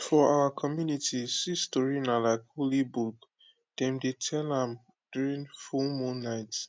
for our community seed story na like holy book dem dey tell am during full moon night